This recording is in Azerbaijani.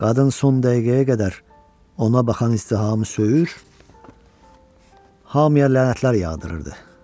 Qadın son dəqiqəyə qədər ona baxan izdihamı söyür, hamıya lənətlər yağdırırdı.